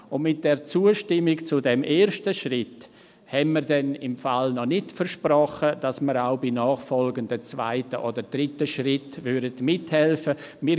Und mit der Zustimmung zu diesem ersten Schritt haben wir noch nicht versprochen, dass wir auch bei nachfolgenden zweiten oder dritten Schritten mithelfen würden.